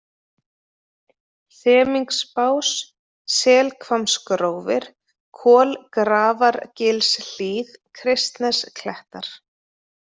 Semingsbás, Selhvammsgrófir, Kolgrafargilshlíð, Kristnesklettar